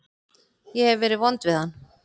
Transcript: Ég hef verið vond við hann.